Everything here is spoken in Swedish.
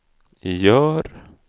gör